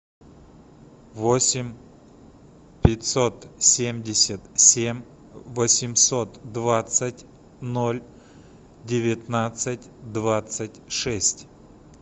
восемь пятьсот семьдесят семь восемьсот двадцать ноль девятнадцать двадцать шесть